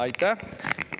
Aitäh!